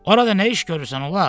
Orada nə iş görürsən ulaq?